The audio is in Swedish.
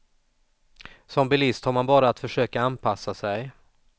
Som bilist har man bara att försöka anpassa sig.